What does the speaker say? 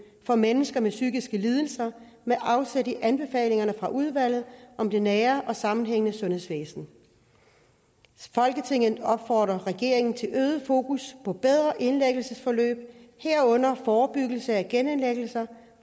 for mennesker med psykiske lidelser med afsæt i anbefalinger fra udvalget om det nære og sammenhængende sundhedsvæsen folketinget opfordrer regeringen til øget fokus på bedre indlæggelsesforløb herunder forebyggelse af genindlæggelser